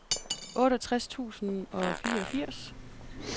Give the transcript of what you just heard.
otteogtres tusind og fireogfirs